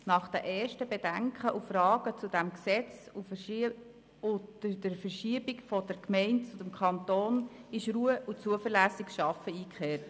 Nach den ersten Bedenken und Fragen zu diesem Gesetz und der Verschiebung von den Gemeinden zum Kanton ist Ruhe und zuverlässiges Arbeiten eingekehrt.